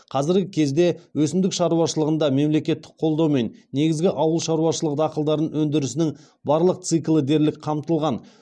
қазіргі кезде өсімдік шаруашылығында мемлекеттік қолдаумен негізгі ауыл шаруашылығы дақылдарының өндірісінің барлық циклі дерлік қамтылған